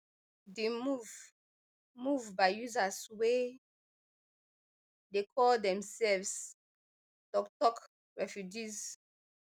di move move by users wey dey call demselves toktok refugees